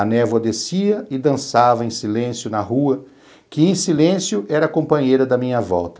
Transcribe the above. A névoa descia e dançava em silêncio na rua, que em silêncio era companheira da minha volta.